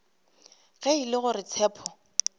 ge e le gore tshepo